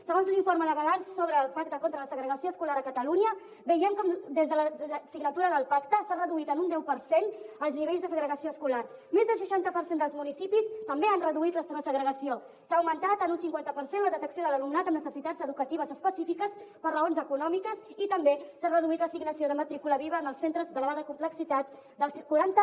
segons l’informe de balanç sobre el pacte contra la segregació escolar a catalunya veiem com des de la signatura del pacte s’ha reduït en un deu per cent els nivells de segregació escolar més d’un seixanta per cent dels municipis també han reduït la seva segrega ció s’ha augmentat en un cinquanta per cent la detecció de l’alumnat amb necessitats educatives específiques per raons econòmiques i també s’ha reduït l’assignació de matrícula viva en els centres d’elevada complexitat del quaranta